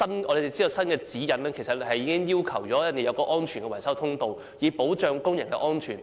我們知道，現在新的指引要求要設有安全維修通道，以保障工人安全。